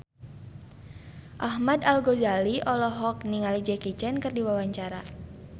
Ahmad Al-Ghazali olohok ningali Jackie Chan keur diwawancara